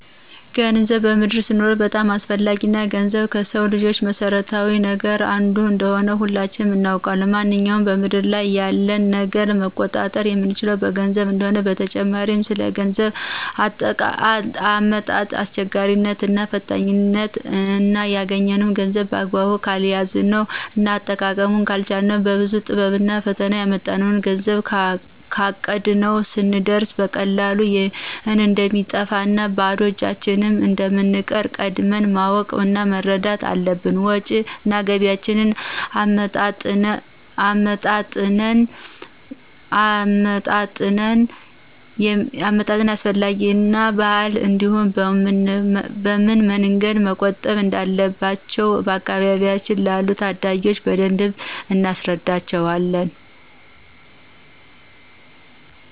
ገንዘብ በምድር ስንኖር በጣም አስፈላጊ እና ገንዘብ ከስው ልጅ መሰረታዊ ነገር አንዱ እንደሆነ ሁላችንም እናውቃለን ማነኛውንም በምድር ላይ ያለን ነገር መቆጣጠር የምንችለው በገንዘብ እንደሆነ፣ በተጨማሪ ስለ ገንዘብ አመጣጥ አስቸጋሪነት እና ፈታኝነት እና ያግኘነውን ገንዘብ በአግባቡ ካልያዝነው እና አጠቃቀሙን ካልቻልነው በብዙ ጥረቭና ፈተና ያመጣነውን ገንዘብ ካቀድነው ስንየርስ በቀላሉ እንደሚጠፋ እና ባዶ እጃችን እንደምንቀር ቀድመን ማወቅ እና መረዳት አለብን። ወጭ እና ገቢያቸውን አመጣጥነው ከሚያገኙት ላይ እንዲቆጥቡ እና ሰለ ቁጠባ አስፈላጊነት እና ባህል እንዲሁም በምን መንገድ መቆጠብ እንዳለባቸው በአካባቢያችን ላሉ ታዳጊዎች በደንብ እናስረዳቸዋለን።